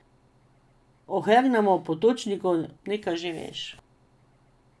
O Hermanu Potočniku nekaj že veš.